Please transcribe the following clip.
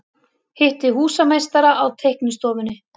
Hitti húsameistara á teiknistofunni.